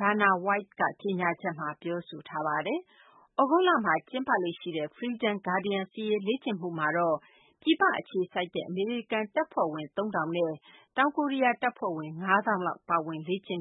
Dana White က ကြေညာချက်မှာ ပြောဆိုထားပါတယ်။ သြဂုတ်လမှာ ကျင်းပလေ့ရှိတဲ့ Freedom Guardian စစ်ရေးလေ့ကျင့်မှုမှာတော့ ပြည်ပမှာ အခြေစိုက်တဲ့ အမေရိကန် တပ်ဖွဲ့ဝင် ၃ ထောင်နဲ့ တောင်ကိုရီးယား တပ်ဖွဲ့ဝင် ၅ သောင်းလောက် ပါဝင်လေ့ကျင့်